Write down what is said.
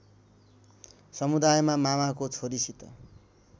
समुदायमा मामाको छोरीसित